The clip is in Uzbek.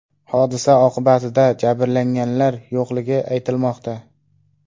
Hodisa oqibatida jabrlanganlar yo‘qligi aytilmoqda.